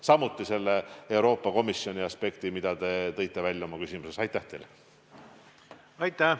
Samuti uurin Euroopa Komisjoni aspekti, mis te oma küsimuses esile tõite.